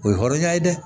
O ye hɔrɔnya ye dɛ